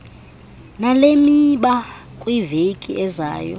nalemiba kwiveki ezayo